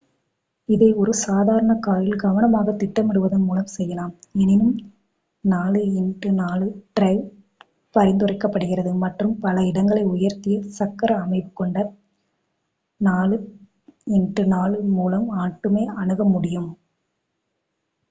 இதை ஒரு சாதாரண காரில் கவனமாகத் திட்டமிடுவதன் மூலம் செய்யலாம் எனினும் 4x4 டிரைவ் பரிந்துரைக்கப்படுகிறது மற்றும் பல இடங்களை உயர்த்திய சக்கர அமைவு கொண்ட 4x4 மூலம் மட்டுமே அணுக முடியும்